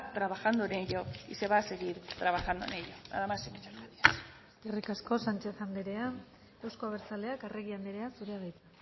trabajando en ello y se va a seguir trabajando en ello nada más y muchas gracias eskerrik asko sanchez andrea euzko abertzaleak arregi andrea zurea da hitza